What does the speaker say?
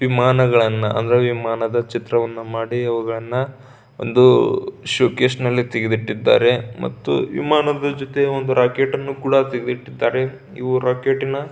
ವಿಮಾಗಳನ್ನ ಅಂದ್ರೆ ವಿಮಾನದ ಚಿತ್ರವನ್ನ ಮಾಡಿ ಅವುಗಳನ್ನ ಒಂದೂ ಷೋಕೇಶ್ನಲ್ಲಿ ತೆಗೆದು ಇಟ್ಟಿದ್ದಾರೆ ಮತ್ತು ವಿಮಾನಗಳ ಜೊತೆ ರಾಕೆಟ್ ಅನ್ನು ತೆಗೆದಿಟ್ಟಿದ್ದಾರೆ ಇವು ರಾಕೇಟಿನ --